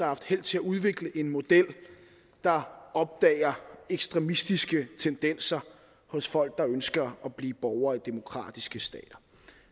haft held til at udvikle en model der opdager ekstremistiske tendenser hos folk der ønsker at blive borgere i demokratiske stater